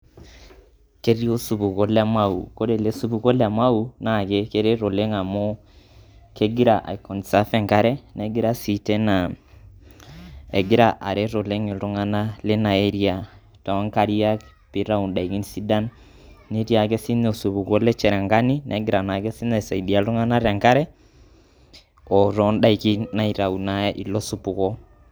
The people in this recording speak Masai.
ketii osupuko le mau wore ele supuko le mau na keret oleng amu kegira aipreserve enkare egira sii areet oleng iltuganak lina area tonkariak nitayu ndaikin netii sii ake sininye osupuko le cherangany negira sinye aisaidia iltung'anak otondaiki naitayu ilo supuko